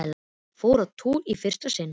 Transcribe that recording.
Fór á túr í fyrsta sinn.